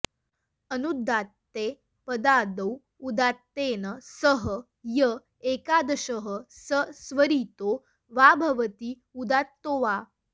अनुदात्ते पदादौ उदात्तेन सह य एकादेशः स स्वरितो वा भवति उदात्तो वा